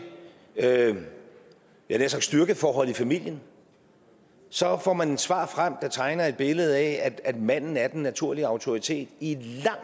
jeg havde nær sagt styrkeforhold i familien så får man et svar frem der tegner et billede af at manden er den naturlige autoritet i et